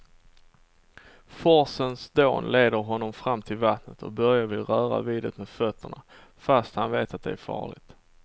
Forsens dån leder honom fram till vattnet och Börje vill röra vid det med fötterna, fast han vet att det är farligt.